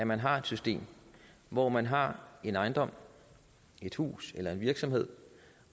man har et system hvor man har en ejendom et hus eller en virksomhed